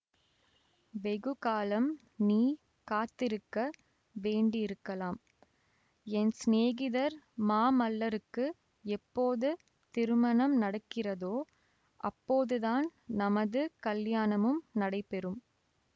வெகு காலம் நீ காத்திருக்க வேண்டியிருக்கலாம் என் சிநேகிதர் மாமல்லருக்கு எப்போது திருமணம் நடக்கிறதோ அப்போதுதான் நமது கலியாணமும் நடைபெறும்